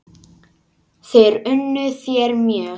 Þær unnu þér mjög.